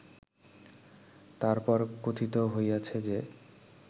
তার পর কথিত হইয়াছে যে